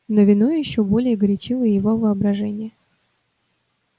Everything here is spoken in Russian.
но вино ещё более горячило его воображение